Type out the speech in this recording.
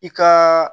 I ka